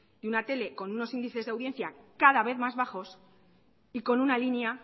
de una tele con unos índices de audiencia cada vez más bajos y con una línea